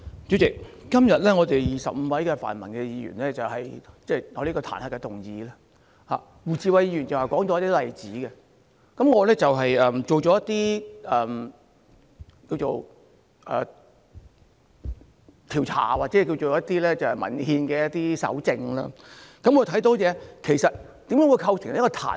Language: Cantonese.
主席，今天我們25位泛民議員提出這項彈劾議案，胡志偉議員剛才列舉了一些例子，而我也做了一些調查或一些文獻上的蒐證，看看有何因素會構成彈劾。